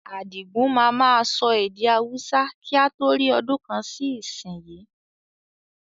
Adigun máa ma sọ èdè Hausa kí a tó rí ọdún kan sì ìsìn yí